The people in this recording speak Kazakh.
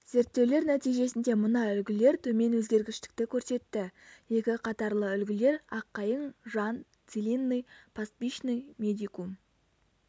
зерттеулер нәтижесінде мына үлгілер төмен өзгергіштікті көрсетті екі қатарлы үлгілер аққайың жан целинный пастбищный медикум